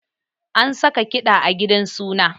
An saka kiɗa a gidan suna